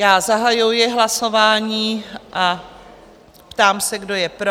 Já zahajuji hlasování a ptám se, kdo je pro?